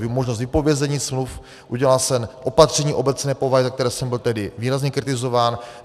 Možnost vypovězení smluv, udělal jsem opatření obecné povahy, za které jsem byl tehdy výrazně kritizován.